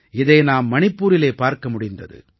இதை நாம் மணிப்பூரிலே பார்க்க முடிந்தது